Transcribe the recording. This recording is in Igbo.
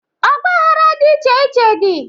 Ọgbaghara dị iche iche dị.